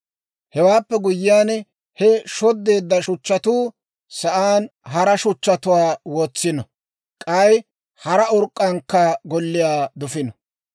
Hewaappe guyyiyaan, he shoddeedda shuchchatuu sa'aan hara shuchchatuwaa wotsino; k'ay hara urk'k'ankka golliyaa dufino.